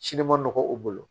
man nɔgɔ u bolo